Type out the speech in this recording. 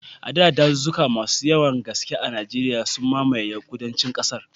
A baya, dazuzzuka masu yawan gaske a Najeriya, sun mamaye yankunan kudancin kasar.